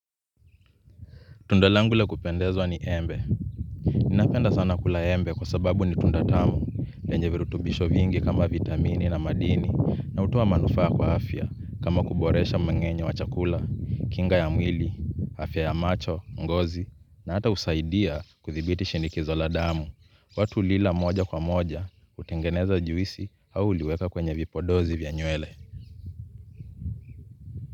Tunda langu la kupendezwa ni embe. Ninapenda sana kula embe kwa sababu ni tunda tamu lenye virutubisho vingi kama vitamini na madini, na hutoa manufaa kwa afya kama kuboresha mmeng'enyo wa chakula, kinga ya mwili, afya ya macho, ngozi na hata husaidia kudhibiti shinikizo la damu. Watu hulila moja kwa moja, hutengeneza juisi au huliweka kwenye vipodozi vya nywele.